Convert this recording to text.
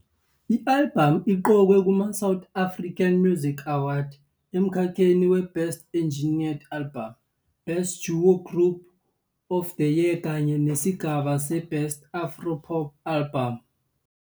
I-albhamu iqokwe kuma-South African Music Awards emkhakheni we-Best Engineered Album, Best duo of the Year kanye nesigaba se-Best Afro-pop Album.